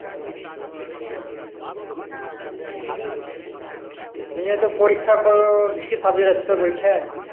নিয়ে তো পরীক্ষা করার কি কি subject আছে তোর পরীক্ষায়?